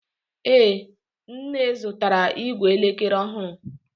Ee, nne zụtara ìgwè elekere ọhụrụ